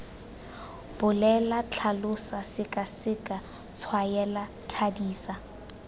bolela tlhalosa sekaseka tshwaela thadisa